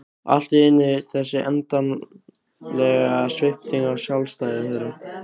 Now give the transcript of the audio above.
Allt í einu þessi endanlega svipting á sjálfstæði þeirra.